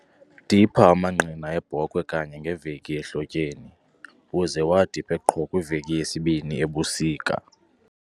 Dipha amangqina eebhokhwe kanye ngeveki ehlotyeni, uze uwadiphe qho kwiveki yesibini ebusika.